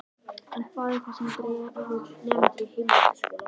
En hvað er það sem dregur nemendur í heimavistarskóla?